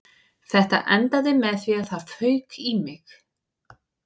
Þetta endaði með því að það fauk í mig